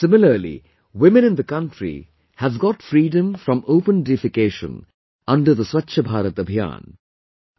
Similarly, women in the country have got freedom from open defecation under the 'Swachh Bharat Abhiyan'